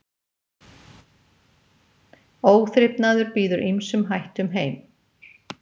Óþrifnaður býður ýmsum hættum heim.